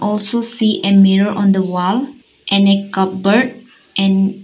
Also see a mirror on the wall and a cupboard and --